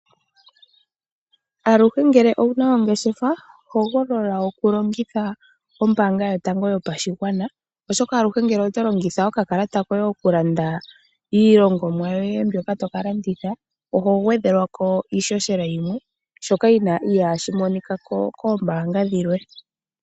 Aluhe ngele owuna ongeshefa hogolola oku longitha ombaanga yotango yopashigwana. Ashoka aluhe ngele oto longitha okakalata koye oku landa iilongomwa yoye mbyoka toka landitha, oho gwedhelwako iishoshela yimwe. Shoka ihashi monika koombanga dhilwe.